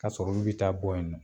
Ka sɔrɔ olu bɛ taa bɔ yen nɔ